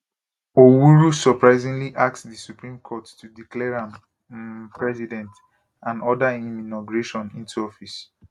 owuru surprisingly ask di supreme court to declare am um president and order im inauguration into office